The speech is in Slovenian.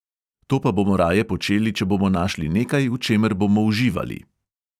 To pa bomo raje počeli, če bomo našli nekaj, v čemer bomo uživali.